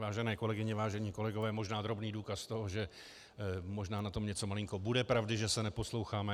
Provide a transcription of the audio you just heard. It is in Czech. Vážené kolegyně, vážení kolegové, možná drobný důkaz toho, že možná na tom něco malinko bude pravdy, že se neposloucháme.